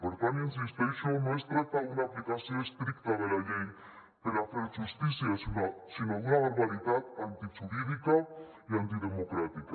per tant hi insisteixo no es tracta d’una aplicació estricta de la llei per a fer justícia sinó d’una barbaritat antijurídica i antidemocràtica